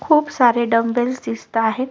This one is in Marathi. खूप सारे डंबेल्स दिसताहेत.